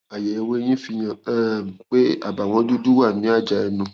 àyẹwò eyín fihàn um pé àbàwọn dúdú wà ní àjà ẹnu